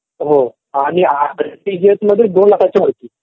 हो आणि आरटीजीएस मध्ये दोन लाखाच्या वरती.